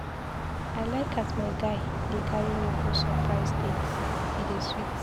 I like as my guy dey carry me go surprise dates, e dey sweet.